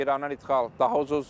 İrandan ixal daha ucuzdur.